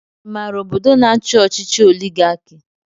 I maara ọbọdọ na-achi ọchịchị oligarki?